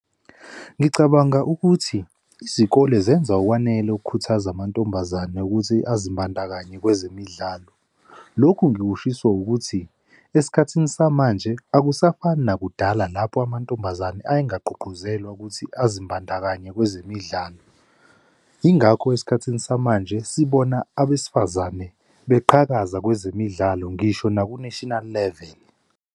Ngicabanga ukuthi izikole zenza okwanele ukukhuthaza amantombazane ukuthi azimbandakanye kwezemidlalo. Lokhu ngikushiso ukuthi esikhathini samanje akusafani nakudala lapho amantombazane ayengagqugquzelwa ukuthi azimbandakanye kwezemidlalo. Yingakho esikhathini samanje sibona abesifazane beqhakaza kwezemidlalo, ngisho naku-national level.